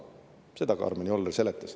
Seda Karmen Joller seletas.